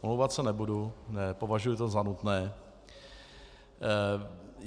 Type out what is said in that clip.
Omlouvat se nebudu, nepovažuji to za nutné.